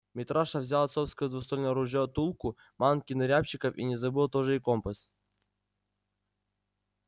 митраша взял отцовское двуствольное ружье тулку манки на рябчиков и не забыл тоже и компас